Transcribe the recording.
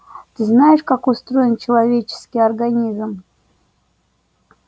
ты знаешь как устроен человеческий организм